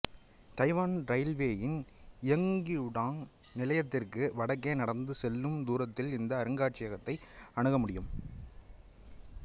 Taiwan இரயில்வேயின் இயுகியுடாங் நிலையத்திற்கு வடக்கே நடந்து செல்லும் தூரத்தில் இந்த அருங்காட்சியகத்தை அணுக முடியும்